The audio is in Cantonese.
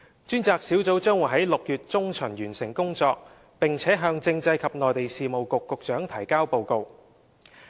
專責小組將於6月中旬完成工作，並向政制及內地事務局局長提交報告。